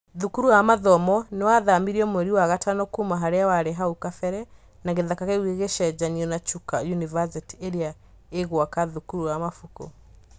Thukuru wa mathomo nĩ wathamirio mweri wa gatano kuuma harĩa warĩ hau kabere, na gĩthaka kĩu gĩgĩcenjanwo na Chuka yunivacItI ĩrĩa ĩgũaka thukuru wa mabuku.